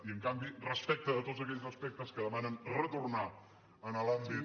i en canvi respecte de tots aquells aspectes que demanen retornar a l’àmbit